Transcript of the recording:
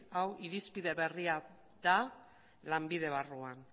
hau irizpide berria da lanbide barruan